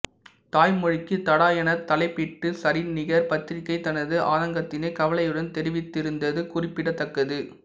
தாய்மொழிக்குத் தடா எனத் தலைப்பிட்டு சரிநிகர் பத்திரிகை தனது ஆதங்கத்தினை கவலையுடன் தெரிவித்திருந்தது குறிப்பிடத்தக்கது